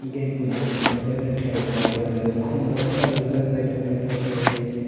gate bo naitotok keleino kelaijak oh jaga o kum rok sajok jak naitok naitok kelai eo.